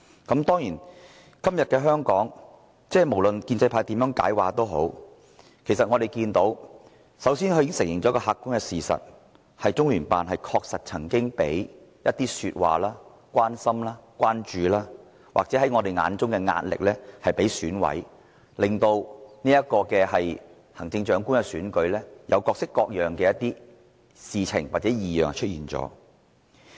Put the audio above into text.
今天的香港，無論建制派如何解釋，他們都承認一個客觀事實，就是中聯辦確曾向一些選委說話、給予他們關心或關注，或在我們眼中的壓力，令行政長官的選舉出現各式各樣的異樣事情。